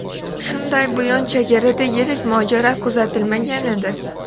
Shunday buyon chegarada yirik mojaro kuzatilmagan edi.